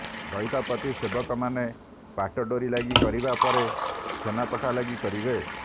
ଦଇତାପତି ସେବକ ମାନେ ପାଟଡୋରି ଲାଗି କରିବା ପରେ ସେନାପଟା ଲାଗି କରିବେ